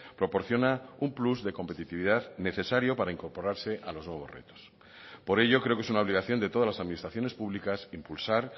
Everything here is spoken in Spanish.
proporciona un plus de competitividad necesario para incorporarse a los nuevos retos por ello creo que es una obligación de todas las administraciones públicas impulsar